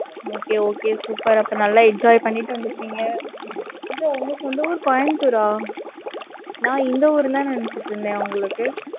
okay okay super அப்ப, நல்லா enjoy பண்ணிட்டு, வந்துருப்பீங்க. உங்க சொந்த ஊர், கோயம்புத்தூரா? நான், இந்த ஊருன்னுதான், நினைச்சுட்டு இருந்தேன், உங்களுக்கு.